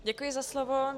Děkuji za slovo.